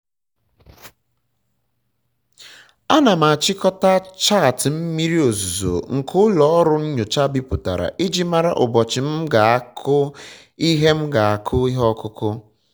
ana m achịkọta chaatị mmiri ozuzo nke ụlọ ọrụ nyocha bipụtara iji mara ụbọchị m um ga-akụ ihe um ga-akụ ihe ọkụkụ